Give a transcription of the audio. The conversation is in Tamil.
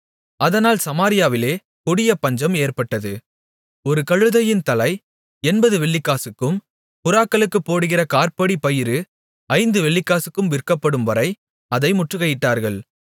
அதனால் சமாரியாவிலே கொடிய பஞ்சம் ஏற்பட்டது ஒரு கழுதையின் தலை எண்பது வெள்ளிக்காசுக்கும் புறாக்களுக்குப் போடுகிற காற்படி பயறு ஐந்து வெள்ளிக்காசுக்கும் விற்கப்படும்வரை அதை முற்றுகையிட்டார்கள்